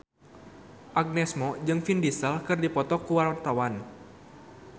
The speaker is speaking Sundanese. Agnes Mo jeung Vin Diesel keur dipoto ku wartawan